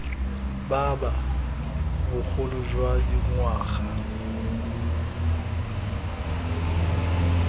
ba ba bogolo jwa dingwaga